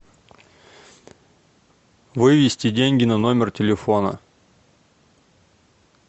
вывести деньги на номер телефона